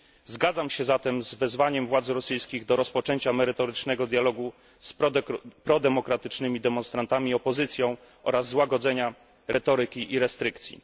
Zgadzam się zatem z wezwaniem władz rosyjskich do rozpoczęcia merytorycznego dialogu z prodemokratycznymi demonstrantami i opozycją oraz złagodzenia retoryki i restrykcji.